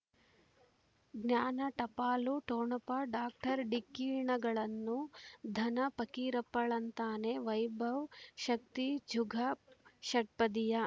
ಜ್ಞಾನ ಟಪಾಲು ಠೊಣಪ ಡಾಕ್ಟರ್ ಢಿಕ್ಕಿ ಣಗಳನು ಧನ ಫಕೀರಪ್ಪ ಳಂತಾನೆ ವೈಭವ್ ಶಕ್ತಿ ಜುಗ ಷಟ್ಪದಿಯ